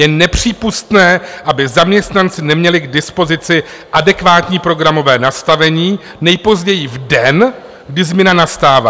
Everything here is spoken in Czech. Je nepřípustné, aby zaměstnanci neměli k dispozici adekvátní programové nastavení nejpozději v den, kdy změna nastává.